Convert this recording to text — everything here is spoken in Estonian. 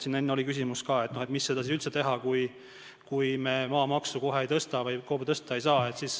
Siin oli enne küsimus, miks seda siis üldse teha, kui me kohe maamaksu ei tõsta või KOV seda tõsta ei saa.